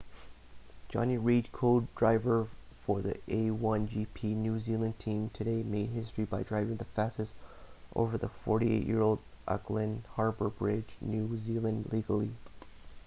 jonny reid co-driver for the a1gp new zealand team today made history by driving the fastest over the 48-year-old auckland harbour bridge new zealand legally